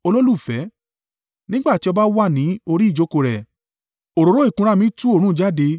Nígbà tí ọba wà ní orí ìjókòó rẹ̀, òróró ìkunra mi tú òórùn jáde.